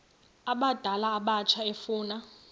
abadala abatsha efuna